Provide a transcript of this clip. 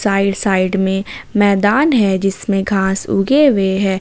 Right side में मैदान है जिसमें खास उगे हुए हैं।